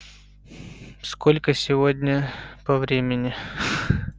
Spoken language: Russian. сколько сегодня по времени